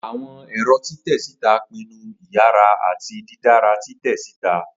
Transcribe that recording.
Awọn ẹrọ titẹ sita pinnu iyara ati didara titẹ sita.